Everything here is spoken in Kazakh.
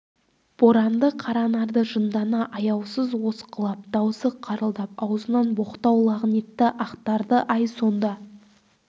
боранды қаранарды жындана аяусыз осқылап даусы қырылдап аузынан боқтау лағнетті ақтарды-ай сонда